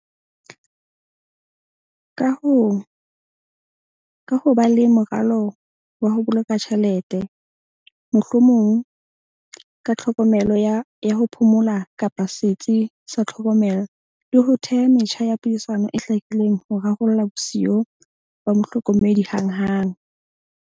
Ka ho ba le moralo wa ho boloka tjhelete, mohlomong ka tlhokomelo ya ho phomola, kapa setsi sa tlhokomelo le ho theha metjha ya puisano e hlakileng ho rarolla bosiyo ba mohlokomedi hanghang.